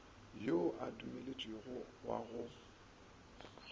yo a dumeletšwego wa go